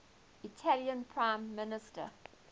italian prime minister